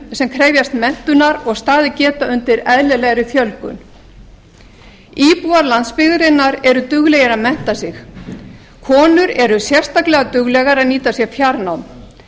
sem krefjast menntunar og staðið geta undir eðlilegri fjölgun íbúar landsbyggðarinnar eru duglegir að mennta sig konur eru sérstaklega duglegar að nýta sér fjarnám